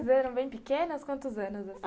Vocês eram bem pequenas, quantos anos, assim?